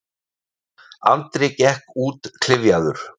Andri gekk út klyfjaður.